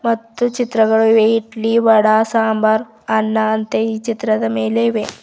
ಮತ್ತು ಚಿತ್ರಗಳಿವೆ ಇಡ್ಲಿ ವಡಾ ಸಾಂಬಾರ್ ಅನ್ನ ಅಂತೆ ಈ ಚಿತ್ರದ ಮೇಲೆ ಇವೆ.